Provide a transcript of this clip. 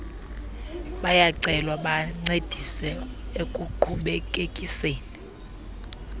bayacelwa bancedise ekuqhubekekiseni